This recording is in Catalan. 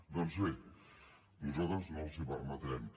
doncs bé nosaltres no els ho permetrem